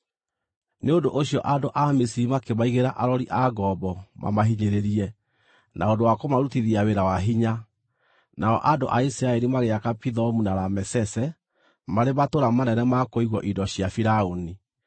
Nĩ ũndũ ũcio andũ a Misiri makĩmaigĩra arori a ngombo mamahinyĩrĩrie na ũndũ wa kũmarutithia wĩra wa hinya, nao andũ a Isiraeli magĩaka Pithomu na Ramesese marĩ matũũra manene ma kũigwo indo cia Firaũni.